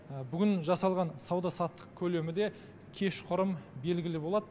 бүгін жасалған сауда саттық көлемі де кешқұрым белгілі болады